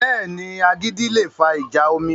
Bẹ́ẹ̀ni, agídí le fa ìjà omi